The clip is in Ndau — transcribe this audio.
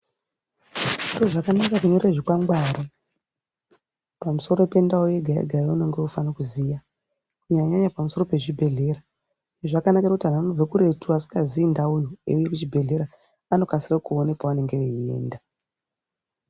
Ndozvakanaka kunyore zvikwangwari pamusoro pendau yega yega yaunenge weifane kuziya, kunyanyanyanya pamusoro pezvibhehlera ,zvakanakire kuti antu anobve kuretu asikazii ndauyo eiuye kuchibhehlera vanokasire kuone paanonge veiyenda.